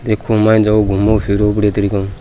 देखो माइन जाओ घूमो फिरो बढ़िया तरीका ऊ।